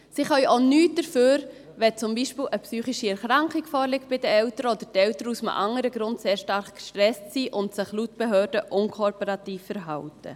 Sie können auch nichts dafür, wenn beispielsweise eine psychische Erkrankung bei den Eltern vorliegt oder die Eltern aus einem anderen Grund sehr stark gestresst sind und sich laut Behörde unkooperativ verhalten.